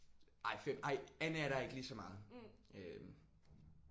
Ej 5 ej Anne er der ikke lige så meget øh